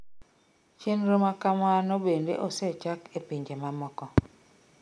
Chenro makamano bende osechak e pinje mamoko